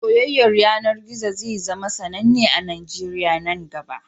Soyayyar yanar gizo zai zama sananne a Najeriya nan gaba